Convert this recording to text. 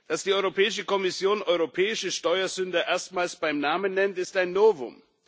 Dass die Europäische Kommission europäische Steuersünder erstmals beim Namen nennt, ist ein Novum.